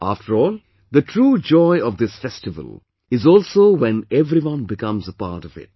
After all, the true joy of this festival is also when everyone becomes a part of it